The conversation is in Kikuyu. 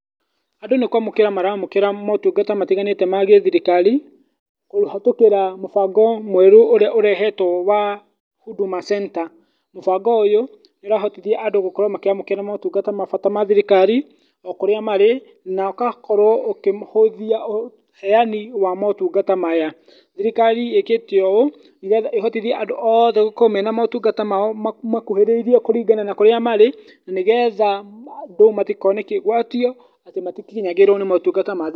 Andũ nĩkwamũkĩra maramũkĩra motungata matiganĩte ma gĩthirikari kũhetũkĩra mũbango mwerũ ũrĩa ũrehetwo wa Huduma Center. Mũbango ũyũ nĩũrahotithia andũ gũkorwo makĩamũkĩra motungata ma bata ma thirikari o kũrĩa marĩ na ũgakorwo ũkĩhũthia ũheyani wa mũtungata maya. Thirikari ĩkĩte ũũ nĩgetha ĩhotithie andũ othe gũkorwo mena motungata mao mothe mamakuhĩrĩirie kũrĩa guothe marĩ, nĩgetha andũ matikone kĩgwatio atĩ matikinyaĩrwo nĩ motungata mathirikari.